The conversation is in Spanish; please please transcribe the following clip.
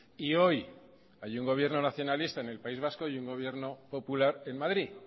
y hoy hay un gobierno nacionalista en el país vasco y un gobierno popular en madrid